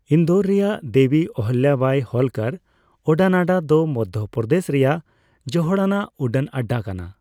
ᱤᱱᱫᱳᱨ ᱨᱮᱭᱟᱜ ᱫᱮᱵᱤ ᱚᱦᱤᱞᱞᱟᱵᱟᱭ ᱦᱳᱞᱠᱟᱨ ᱩᱰᱟᱹᱱᱟᱰᱟ ᱫᱚ ᱢᱚᱫᱽᱫᱷᱚ ᱯᱨᱚᱫᱮᱹᱥ ᱨᱮᱭᱟᱜ ᱡᱚᱦᱚᱲᱟᱱᱟᱜ ᱩᱰᱟᱹᱱ ᱟᱰᱟ ᱠᱟᱱᱟ ᱾